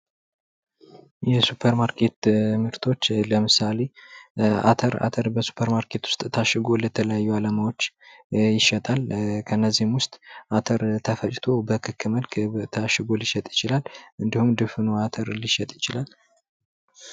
የሱፐር ማርኬት ምርቶች ለምሳሌ አተር ፦ አተር ሱፐርማርኬት ውስጥ ታሽጎ በተለያዩ አላማዎች ይሸጣል ። እነዚህም ውስጥ አተር ተፈጭቶ በክክ መልክ ታሽጎ ልሸጥ ይችላል ። እንዲሁም ድፍኑ አተር ሊሸጥ ይችላል ።